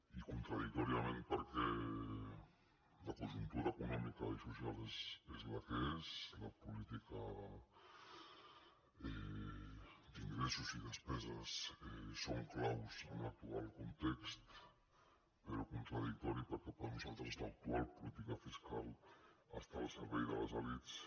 i contradictòriament perquè la conjuntura econòmica i social és la que és la política d’ingressos i despeses és clau en l’actual context però contradictori perquè per nosaltres l’actual política fiscal està al servei de les elits